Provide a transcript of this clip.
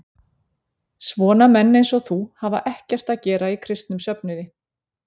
Svona menn eins og þú hafa ekkert að gera í kristnum söfnuði.